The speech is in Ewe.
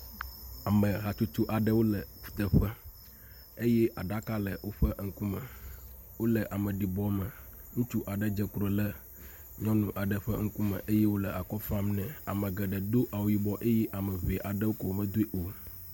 Ame hatsotso aɖewo le kuteƒe eye aɖaka le woƒe eŋkume. Wole ameɖibɔ me. Ŋutsu aɖe dze klo le nyɔnu aɖe ƒe ŋkume eye wòle akɔ fam nɛ. Ame geɖe do awu yibɔ eye ame ŋɛ aɖewo koe medoe o.